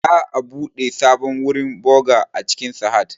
Za'a buɗe sabon wurin boğa a cikin Sahad